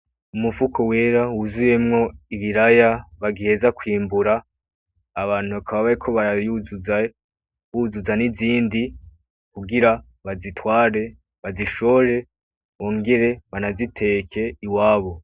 Umufuko wera wuzuyemwo Ibiraya bagiheza kwimbura, Abantu bakaba bariko baravyuzuza, buzuza n'ibindi kugira babitware babishore bongere banabiteke iwabo.